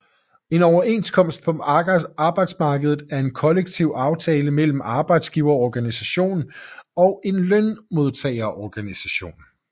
En Overenskomst på arbejdsmarkedet er en kollektiv aftale mellem en arbejdsgiverorganisation og en lønmodtagerorganisation